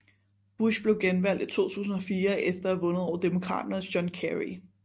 Bush blev genvalgt i 2004 efter at have vundet over demokraternes John Kerry